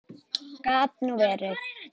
Gat nú verið!